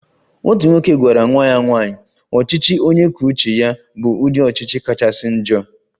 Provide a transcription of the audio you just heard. "Otu nwoke gwara nwa ya nwanyị, ""ọchịchị onye kwuo uche ya bụ ụdị ọchịchị kachasị njọ"""